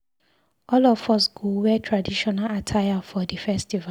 All of us go wear traditional attire for di festival.